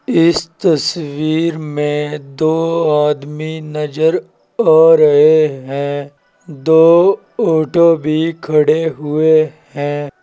इस तस्वीर में दो आदमी नजर आ रहे हैं दो ऑटो भी खड़े हुए हैं।